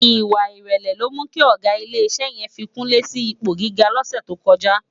Iwá irèlè ló mú ki ògá ilé isè yèn fi kunle si ipó gigá lòsè tókòjá